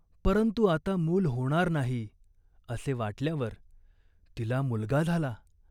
परंतु आता मूल होणार नाही, असे वाटल्यावर तिला मुलगा झाला.